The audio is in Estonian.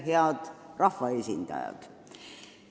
Head rahvaesindajad!